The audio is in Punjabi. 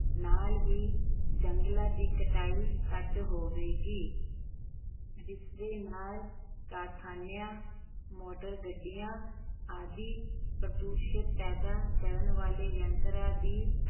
ਨਾਲ ਹੀ ਜੰਗਲਾਂ ਦੀ ਕਟਾਈ ਘੱਟ ਹੋਵੇਗੀ ਜਿਸਦੇ ਨਾਲ ਕਾਰਖਾਨਿਆਂ, ਮੋਟਰਾਂ -ਗੱਡੀਆਂ ਆਦਿ ਪ੍ਰਦੂਸ਼ਣ ਪੈਦਾ ਕਰਨ ਵਾਲੇ ਯੰਤਰਾਂ ਦੀ